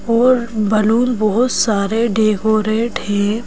और बलून बहुत सारे डेकोरेट हैं।